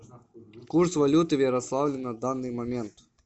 курс валюты в ярославле на данный момент